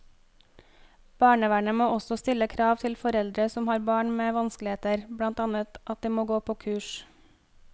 Barnevernet må også stille krav til foreldre som har barn med vanskeligheter, blant annet at de må gå på kurs.